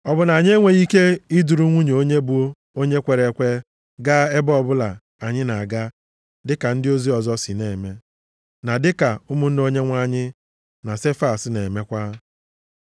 Ọ bụ na anyị enweghị ike iduru nwunye onye bụ onye kwere ekwe gaa ebe ọbụla anyị na-aga dịka ndị ozi ọzọ na-eme, na dịka ụmụnne Onyenwe anyị na Sefas na-emekwa?